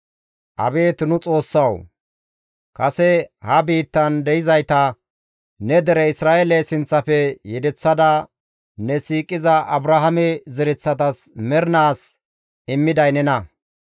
Abeet nu Xoossawu! Kase ha biittan de7izayta ne dere Isra7eele sinththafe yedeththada ne siiqiza Abrahaame zereththatas mernaas immiday nena!